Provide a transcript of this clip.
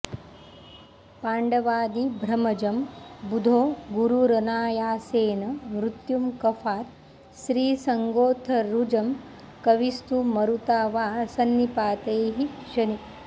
पाण्ड्वादि भ्रमजं बुधो गुरुरनायासेन मृत्युं कफात् स्त्रीसङ्गोत्थरुजं कविस्तु मरुता वा संनिपातैः शनि